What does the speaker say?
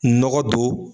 Nɔgɔ don